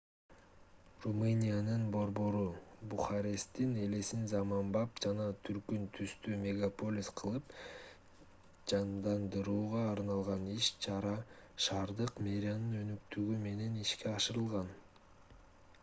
румыниянын борбору бухаресттин элесин заманбап жана түркүн түстүү мегаполис кылып жандандырууга арналган иш-чара шаардык мэриянын өнөктүгү менен ишке ашырылган